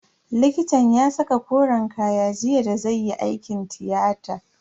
Likitan ya saka koren kaya jiya da zai yi aikin tiyata.